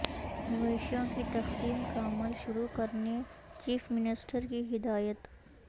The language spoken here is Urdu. مویشیوں کی تقسیم کا عمل شروع کرنے چیف منسٹر کی ہدایت